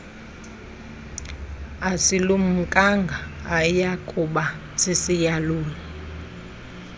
asilumkanga ayakuba sisiyaluyalu